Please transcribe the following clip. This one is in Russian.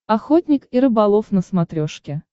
охотник и рыболов на смотрешке